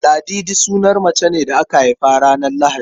Ladidi sunan mace ce da aka haifa ranar Lahadi.